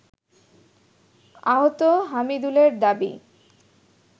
আহত হামিদুলের দাবি